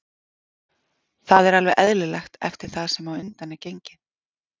Það er alveg eðlilegt eftir það sem á undan er gengið.